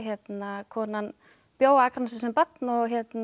konan bjó á Akranesi sem barn og